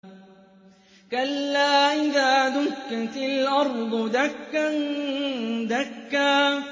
كَلَّا إِذَا دُكَّتِ الْأَرْضُ دَكًّا دَكًّا